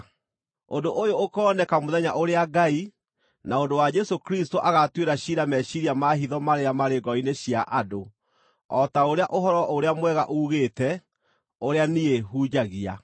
Ũndũ ũyũ ũkooneka mũthenya ũrĩa Ngai, na ũndũ wa Jesũ Kristũ agaatuĩra ciira meciiria ma hitho marĩa marĩ ngoro-inĩ cia andũ, o ta ũrĩa Ũhoro-ũrĩa-Mwega uugĩte, ũrĩa niĩ hunjagia.